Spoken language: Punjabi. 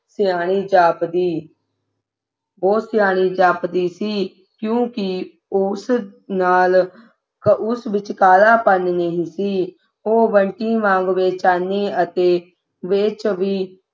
ਸਿਆਣੀ ਜਾਪਦੀ ਉਹੋ ਸਿਆਣੀ ਜਾਪਦੀ ਸੀ ਕਿਉਂਕਿ ਉਸ ਨਾਲ ਉਸ ਵਿਚ ਕਾਲਾਪਨ ਨਹੀਂ ਸੀ ਉਹ ਬੰਟੀ ਵਾਂਗ ਬੇਚੈਨੀ ਅਤੇ ਬੇਚ ਵੀ